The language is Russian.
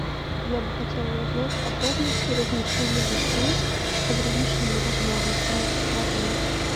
я бы хотела узнать подробности размещения гостей с ограниченными возможностями в отеле